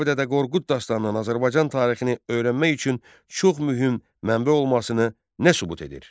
Kitabi Dədə Qorqud dastanının Azərbaycan tarixini öyrənmək üçün çox mühüm mənbə olmasını nə sübut edir?